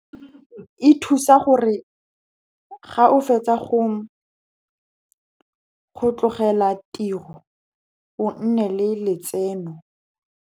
E thusa gore ga o fetsa go tlogela tiro o nne le letseno.